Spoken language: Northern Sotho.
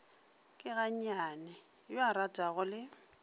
keganne yo a ratanago le